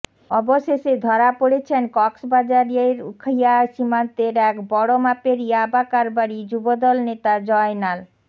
অবশেষে ধরা পড়েছেন কক্সবাজারের উখিয়া সীমান্তের এক বড় মাপের ইয়াবা কারবারি যুবদল নেতা জয়নাল